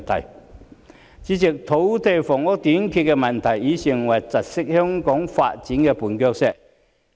代理主席，土地房屋短缺的問題已成為窒礙香港發展的絆腳石。